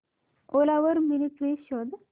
ओला वर mini fridge शोध